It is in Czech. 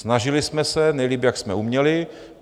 Snažili jsme se nejlépe, jak jsme uměli.